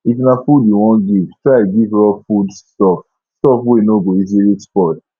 if na food you won give try give raw foods stuff stuff wey no go easily spoil